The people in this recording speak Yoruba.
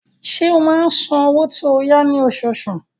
Ṣé ó máa ń san owó tó yá ní oṣooṣù?